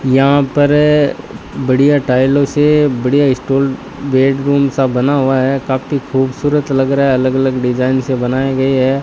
यहां पर बढ़िया टाइलों से बढ़िया स्टॉल बेडरूम सा बना हुआ है काफी खूबसूरत लग रहा है अलग अलग डिजाइन से बनाए गए है।